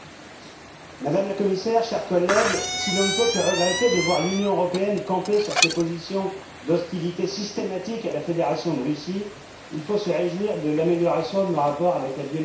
Madame la Commissaire, chers collègues, si l'on ne peut que regretter de voir l'Union européenne camper sur ses positions d'hostilité systématique à la Fédération de Russie, il faut se réjouir de l'amélioration de nos rapports avec la Biélorussie.